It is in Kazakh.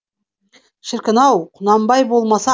шіркін ау құнанбай болмаса